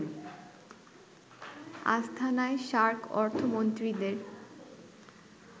আস্তানায় SAARC অর্থমন্ত্রীদের